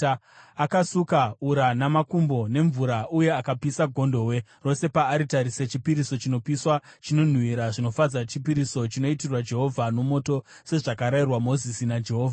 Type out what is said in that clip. Akasuka ura namakumbo nemvura uye akapisa gondobwe rose paaritari sechipiriso chinopiswa, chinonhuhwira zvinofadza, chipiriso chinoitirwa Jehovha nomoto, sezvakarayirwa Mozisi naJehovha.